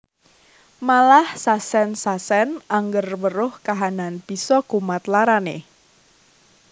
Malah sasen sasen angger weruh kahanan bisa kumat larane